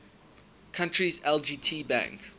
country's lgt bank